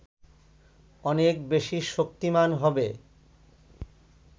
অনেক বেশি শক্তিমান হবে